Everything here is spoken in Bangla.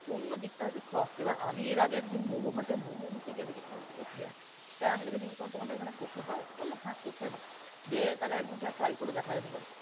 অন্যদিকটা হয়ত soft এবার আমি এর আগে একদিন momo hut এ momoi নিতে গিয়ে দেখি সেখানে কোছে আছে, এবার আমি তাকে জিজ্ঞেস করলাম তোমাদের এখানে কোছে হয়? বলল কোছে হয়। যেয়ে তাহলে একদিন সেটা try করে দেখা যেতে পারে।